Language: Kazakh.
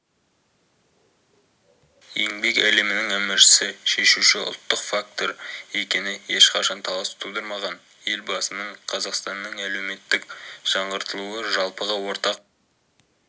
еңбек әлемнің әміршісі шешуші ұлттық фактор екені ешқашан талас тудырмаған елбасының қазақстанның әлеуметтік жаңғыртылуы жалпыға ортақ